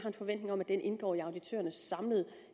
en forventning om at den indgår i auditørernes samlede